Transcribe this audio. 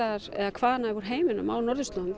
hvaðanæva að heiminum á norðurslóðum